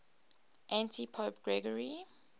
antipope gregory